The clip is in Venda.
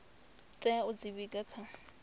tea u dzi vhiga kha